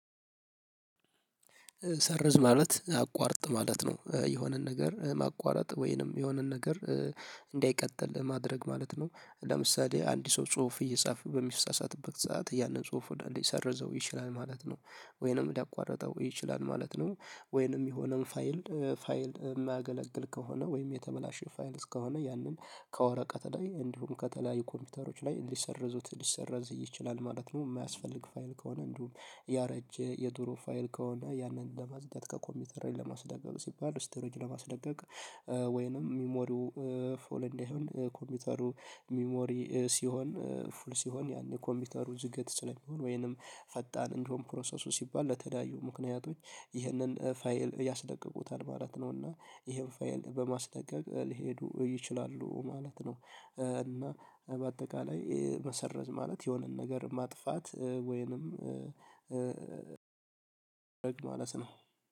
ሰርዝ ማለት አቋርጥ ማለት ነው የሆነን ነገር ማቋረጥ ወይንም የሆነን ነገር እንዳይቀጥል ለማድረግ ማለት ነው። ለምሳሌ አንድ ሰው ጽሁፍ እየጻፈ በሚሳሳትበት ሰዓት ያንን ጽሁፍ ባንዴ ሊሰርዘው ይችላል ማለት ነው። ወይንም ሊያቋረጠው ይችላል ማለት ነው። ወይንም የሆነን ፋይል ፋይል የማያገለግል ከሆነ ወይም የተበላሸ ፋይል እስከሆነ ያንን ከወረቀት ላይ እንዲሁም ከተለያዩ ኮምፒውተሮች ላይ ሊሰርዙት ሊሰርዝ ይችላል ማለት ነው። የማያስፈልግ ፋይል ከሆነ እንዲሁም ያረጀ የድሮ ፋይል ከሆነ ያንን ለማጽዳት ከኮምፒውተር ለማስለቀቅ ሲባል ስቶሬጅ ለማስለቀቅ። ወይንም ሚሞሪው ፉል እንዳሆን ኮምፒውተሩ ሚሞሪ ሲሆን ፉል ሲሆን ያኔ ኮምፒውተሩ ዝገት ስለሚሆን ወይንም ፈጣን እንዲሆን ፕሮሰሱ ሲባል ለተለያዩ ምክንያቶች ይሄንን ፋይል ያስለቅቁታል ማለት ነው። እና ይሄን ፋይል በማስለቀቅ ሊሄዱ ይችላሉ ማለት ነው። እና በአጠቃላይ መሰረዝ ማለት የሆነን ነገር ማጥፋት ወይንም ማለት ነው